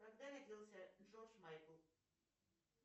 когда родился джордж майкл